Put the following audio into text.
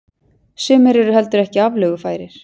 Sumir eru heldur ekki aflögufærir.